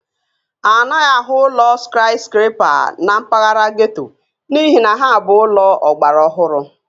A naghị ahụ ụlọ skaịskrepa na mpaghara getto n'ihi na ha bụ ụlọ ọgbara ọhụrụ